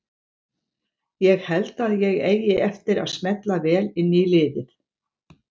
Ég held að ég eigi eftir að smella vel inn í liðið.